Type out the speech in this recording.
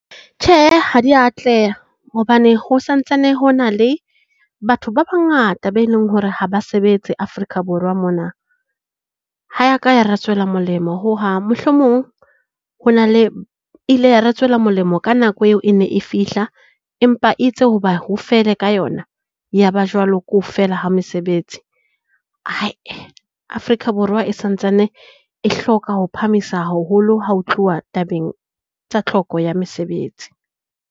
Tjhe ha dia atleha hobane ho santsane hona le batho ba bangata be leng hore ha ba sebetse Afrika Borwa mona. Ha ya ka ya re tswela molemo hohang, mohlomong ho na le ile ya re tswela molemo ka nako eo e ne e fihla, empa itse hoba ho fele ka yona, yaba jwalo ke ho fela ha mesebetsi. Afrika Borwa e santsane e hloka ho phahamisa haholo ha ho tluwa tabeng tsa tlhoko ya mesebetsi.